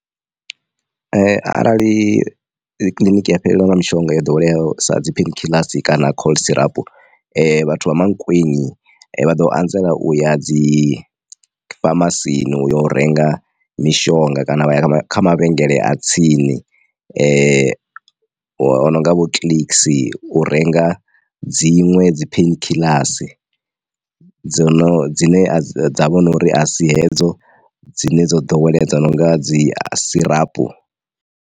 Arali kiḽiniki ya fhelelwa nga mishonga yo ḓoweleaho sa dzi pain kiḽasi kana cough syrup vhathu vha Mankweng vha ḓo anzela uya dzi famasini uyo u renga mishonga kana vha ya kha mavhengele a tsini ononga vho clicks u renga dziṅwe dzi pain kiḽasi dzo no dzine dza vhori asi hedzo dzine dzo ḓoweleaho dzo nonga dzi syrup.